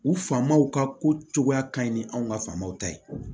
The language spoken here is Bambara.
U famow ka ko cogoya ka ɲi ni anw ka faamaw ta ye